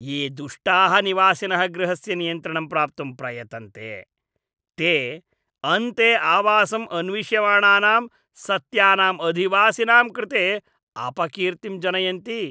ये दुष्टाः निवासिनः गृहस्य नियन्त्रणं प्राप्तुं प्रयतन्ते, ते अन्ते आवासम् अन्विष्यमाणानां सत्यानाम् अधिवासिनां कृते अपकीर्तिम् जनयन्ति।